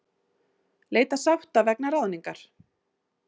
Leita sátta vegna ráðningar